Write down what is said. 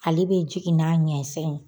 Ale bɛ jigin n'a ɲɛ fɛn ye